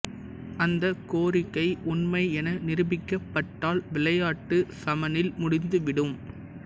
அந்த கோரிக்கை உண்மை என நிரூபிக்கப்பட்டால் விளையாட்டு சமனில் முடிந்துவிடும்